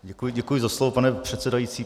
Děkuji za slovo, pane předsedající.